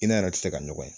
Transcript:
I n'a yɛrɛ tɛ se ka ɲɔgɔn ye